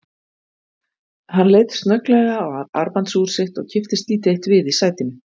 Hann leit snögglega á armbandsúr sitt og kipptist lítið eitt við í sætinu.